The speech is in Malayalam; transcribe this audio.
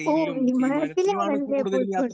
സ്പീക്കർ 2 ഓ വിമാനത്തിലാണല്ലേ പോയി കൊണ്ട്